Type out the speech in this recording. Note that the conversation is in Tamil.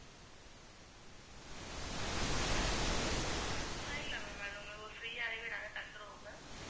free ஆவே நாங்க தந்துருவோம் ma'am